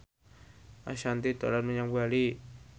Ashanti dolan menyang Bali